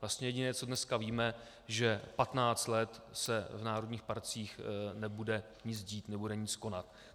Vlastně jediné, co dneska víme, že 15 let se v národních parcích nebude nic dít, nebude nic konat.